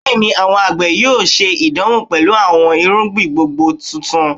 Bẹẹni, awọn agbe yoo ṣe idanwo pẹlu awọn irugbin gbongbo tuntun